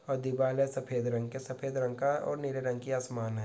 और दीवाल है सफ़ेद रंग के सफेद रंग का और नीले रंग की आसमान है।